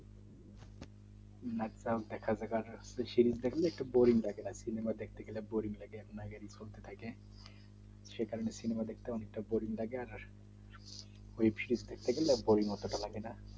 আচ্ছা দেখা যাবে সিরিজ দেখলে বোরিং লাগে সিনেমা দেখতে গেলে বোরিং লাগে সেই কারণ সিনেমা দেখতে বোরিং লাগে অটো তা লাগে না